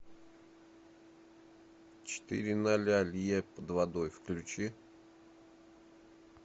четыре ноля лье под водой включи